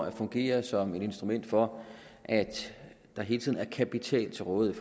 at fungere som et instrument for at der hele tiden er kapital til rådighed